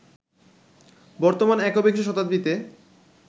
বর্তমান একবিংশ শতাব্দীতে